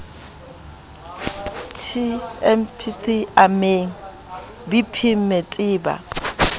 temg tpp amemg bpmmete ba